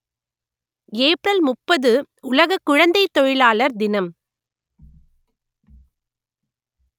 April முப்பது உலக குழந்தைத் தொழிலாளர் தினம்